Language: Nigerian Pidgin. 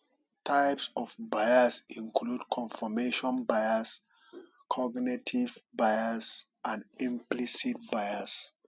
types of bias include confirmation bias cognitive bias and implicit bias